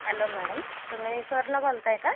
hello madam तुम्ही सरला बोलताय का?